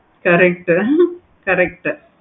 correct correct